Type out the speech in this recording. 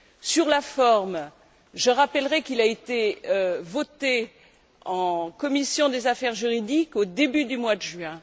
Sur la forme, je rappellerai qu'il a été voté en commission des affaires juridiques au début du mois de juin